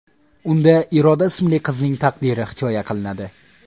Unda Iroda ismli qizning taqdiri hikoya qilinadi.